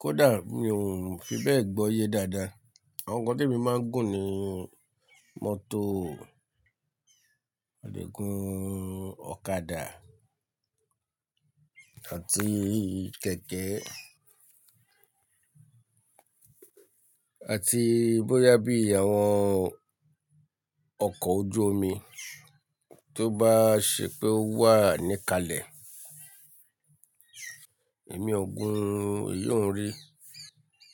Kódà mi ò fi bẹ́ẹ̀ gbọ́ iye dáadáa. Àwọn kan tó mi máa ń gùn ni mọ́tò, mo lè gùn ọ̀kadà àti kẹ̀kẹ́ àti bóyá bí àwọn ọkọ̀ ojú omi tó bá ṣe pé ó wà níkale, èmi ò gun, èyí ò ń rí.